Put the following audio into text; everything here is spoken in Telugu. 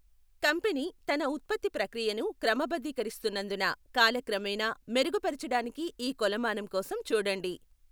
కంపెనీ తన ఉత్పత్తి ప్రక్రియను క్రమబద్ధీకరిస్తున్నందున కాలక్రమేణా మెరుగుపరచడానికి ఈ కొలమానం కోసం చూడండి.